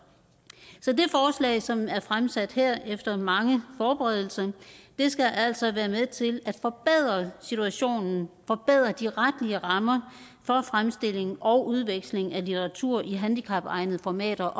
det forslag som er fremsat her efter mange forberedelser skal altså være med til at forbedre situationen forbedre de retlige rammer for fremstilling og udveksling af litteratur i handicapegnede formater